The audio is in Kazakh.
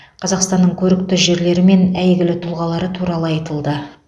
қазақстанның көрікті жерлері мен әйгілі тұлғалары туралы айтылды